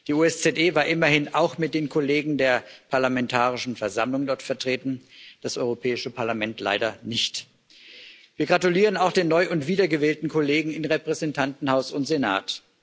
Die OSZE war immerhin auch mit den Kollegen der Parlamentarischen Versammlung dort vertreten, das Europäische Parlament leider nicht. Wir gratulieren auch den neu und wiedergewählten Kollegen in Repräsentantenhaus und Senat.